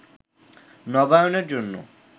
নবায়নের জন্য